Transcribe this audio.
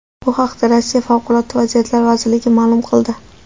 Bu haqda Rossiya Favqulodda vaziyatlar vazirligi ma’lum qildi .